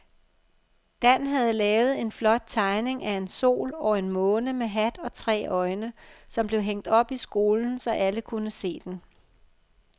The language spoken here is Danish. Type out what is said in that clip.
Dan havde lavet en flot tegning af en sol og en måne med hat og tre øjne, som blev hængt op i skolen, så alle kunne se den.